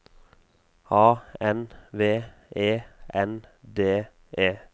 A N V E N D E